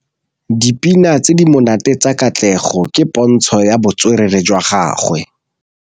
Dipina tse di monate tsa Katlego ke pôntshô ya botswerere jwa gagwe.